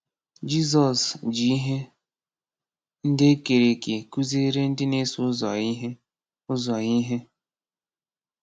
Jizọs ji ihe ndị e kere eke kụziere ndị na-eso ụzọ ya ihe. ụzọ ya ihe.